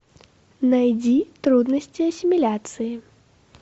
найди трудности ассимиляции